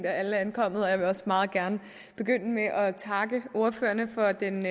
at alle er kommet og jeg vil også meget gerne begynde med at takke ordførerne for den